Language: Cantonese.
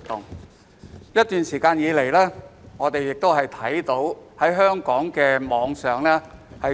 在過去一段時間，我們看到香港網上